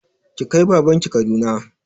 Ki kai baban ki Kaduna!